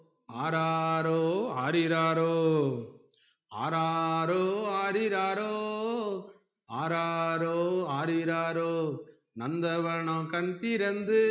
ஆராரோ ஆரிராரோ ஆராரோ ஆரிராரோ ஆராரோ ஆரிராரோ நந்தவனம் கண்திறந்து